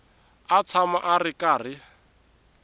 a tshama a ri karhi